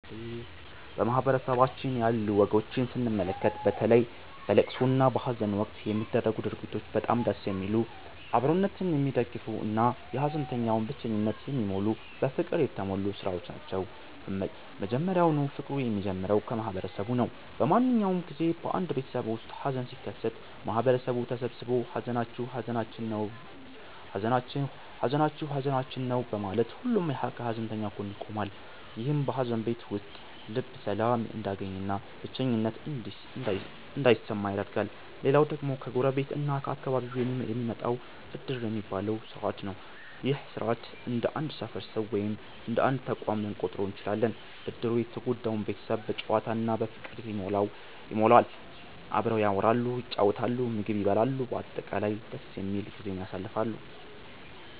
በማህበረሰባችን ያሉ ወጎችን ስንመለከት፣ በተለይ በለቅሶ እና በሃዘን ወቅት የሚደረጉት ድርጊቶች በጣም ደስ የሚሉ፣ አብሮነትን የሚደግፉ እና የሃዘንተኛውን ብቸኝነት የሚሞሉ በፍቅር የተሞሉ ሥራዎች ናቸው። መጀመሪያውኑ ፍቅሩ የሚጀምረው ከማህበረሰቡ ነው። በማንኛውም ጊዜ በአንድ ቤተሰብ ውስጥ ሃዘን ሲከሰት፣ ማህበረሰቡ ተሰብስቦ 'ሃዘናችሁ ሃዘናችን ነው' በማለት ሁሉም ከሃዘንተኛው ጎን ይቆማል። ይህም በሃዘን ቤት ውስጥ ልብ ሰላም እንዲያገኝና ብቸኝነት እንዳይሰማ ያደርጋል። ሌላው ደግሞ ከጎረቤት እና ከአካባቢው የሚመጣው 'ዕድር' የሚባለው ሥርዓት ነው። ይህ ሥርዓት እንደ አንድ ሰፈር ሰው ወይም እንደ አንድ ተቋም ልንቆጥረው እንችላለን። ዕድሩ የተጎዳውን ቤተሰብ በጨዋታ እና በፍቅር ይሞላዋል። አብረው ያወራሉ፣ ይጫወታሉ፣ ምግብ ይበላሉ፤ በአጠቃላይ ደስ የሚል ጊዜን ያሳልፋሉ።